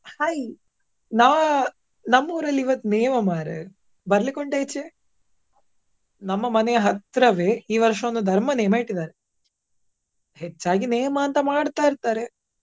Hai ನಾ~ ನಮ್ ಊರಲ್ಲಿ ಇವತ್ತು ನೇಮ ಮಾರ್ರೆ ಬರ್ಲಿಕ್ಕೆ ಉಂಟಾ ಈಚೆ. ನಮ್ಮ ಮನೆ ಹತ್ರವೆ ಈ ವರ್ಷವೊಂದು ಧರ್ಮ ನೇಮ ಇಟ್ಟಿದ್ದಾರೆ. ಹೆಚ್ಚಾಗಿ ನೇಮ ಅಂತ ಮಾಡ್ತಾ ಇರ್ತಾರೆ.